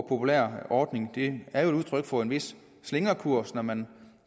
populære ordning og det er jo udtryk for en vis slingrekurs når man